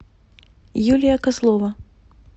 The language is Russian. юлия козлова